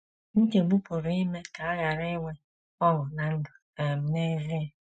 Nchegbu pụrụ ime ka a ghara inwe ọṅụ ná ndụ um n’ezie.